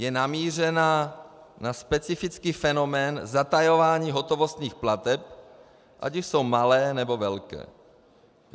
Je namířena na specifický fenomén zatajování hotovostních plateb, ať už jsou malé, nebo velké.